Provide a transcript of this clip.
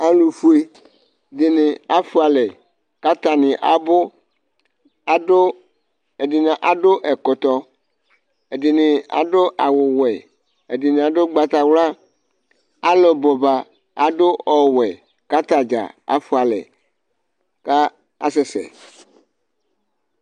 Alʊfʊe dɩnɩ afʊalɛ, kataŋɩ aɓʊ Ɛdinɩ adʊ ɛkɔtɔ Ɛdɩŋɩ aɗʊ awʊ wɛ Ɛd̄n8 adʊ ʊgbatawla Alʊ ɓʊɓa adʊ ɔwɛ kataɖza afʊalɛ ka asɛsɛ